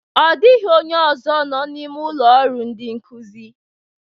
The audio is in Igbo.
Ọ dịghị onye nọ n'ime ụlọ ọrụ ndị nkụzi